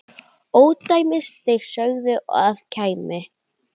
ódæmi þeir sögðu að kæmi.